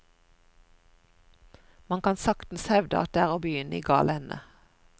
Man kan saktens hevde at det er å begynne i gal ende.